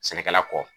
Sɛnɛkɛla kɔ